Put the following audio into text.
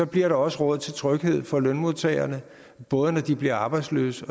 bliver der også råd til tryghed for lønmodtagerne både når de bliver arbejdsløse